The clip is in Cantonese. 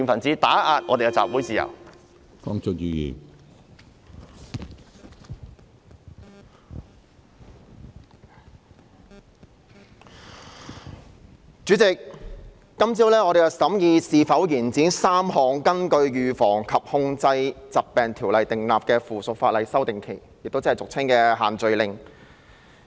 主席，我們在今天早上審議應否延展3項根據《預防及控制疾病條例》訂立的附屬法例的修訂期限，其中包括俗稱"限聚令"的事宜。